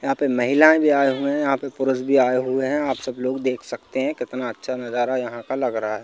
यहाँ पे महिलाएँ भी आए हुए हैं यहाँ पे पुरुष भी आए हुए हैं आप सब लोग देख सकते हैं कितना अच्छा नज़ारा यहाँ का लग रहा है।